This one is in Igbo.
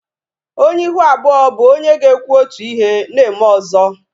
Onye ihu abụọ bụ onye ga-ekwu otu ihe na-eme ọzọ